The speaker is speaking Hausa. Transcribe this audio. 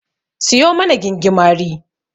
Siyo mana gingimari.